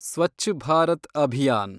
Swachh Bharat Abhiyan